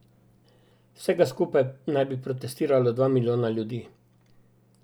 Vsega skupaj naj bi protestiralo dva milijona ljudi.